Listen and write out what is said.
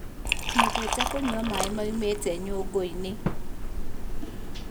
Nyendete kũnyua maĩ maumĩte nyũngũinĩ